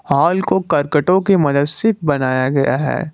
Hall को कर्कटों के मदद से बनाया गया है।